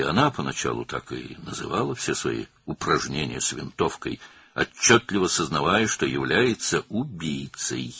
Əvvəlcə tüfənglə bütün məşqlərini belə adlandırırdı, açıq-aydın bilirdi ki, o, qatildir.